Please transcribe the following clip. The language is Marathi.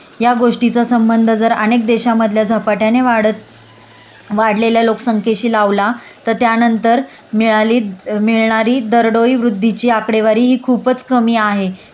या गोष्टीचा संबध जर अनेक देशामधल्या झपाट्याने वाढत वाढलेल्या लोकसंख्येशी लावला तर त्यानंतर मिळाली मिळणारी दरडोई वृद्धीची आकडेवारी हि खूपच कमी आहे